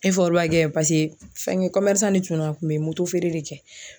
Efɔriba kɛ pase fɛngɛ kɔmɛrisan ne tun no a tun be motofeere de kɛ